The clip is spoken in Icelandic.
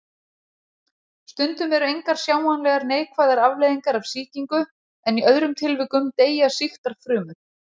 Stundum eru engar sjáanlegar neikvæðar afleiðingar af sýkingu en í öðrum tilvikum deyja sýktar frumur.